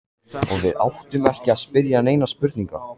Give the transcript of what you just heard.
Og við áttum ekki að spyrja neinna spurninga.